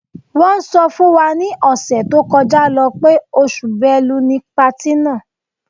Wọ́n sọ fún wa ni ọ̀sẹ̀ tó kọjá lọ́ pé oṣù Bẹ́lu ni patí náà.